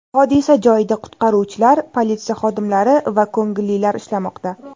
Hodisa joyida qutqaruvchilar, politsiya xodimlari va ko‘ngillilar ishlamoqda.